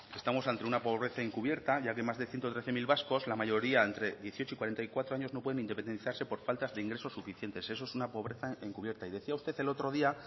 estamos ante una pobreza encubierta ya que más de ciento trece mil vascos la mayoría entre dieciocho y cuarenta y cuatro años no pueden independizarse por falta de ingresos suficientes eso es una pobreza encubierta y decía usted el otro día